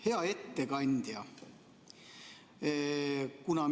Hea ettekandja!